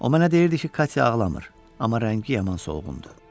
O mənə deyirdi ki, Katya ağlamır, amma rəngi yaman solğundur.